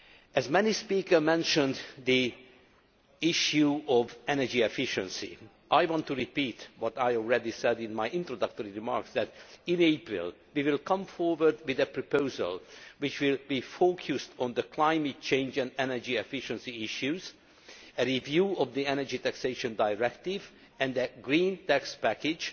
As many speakers mentioned the issue of energy efficiency, I want to repeat what I already said in my introductory remarks in April we will come forward with a proposal that will be focused on climate change and energy efficiency issues, a review of the Energy Taxation Directive, and the Green Tax Package